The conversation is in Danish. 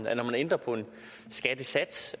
at når man ændrer på en skattesats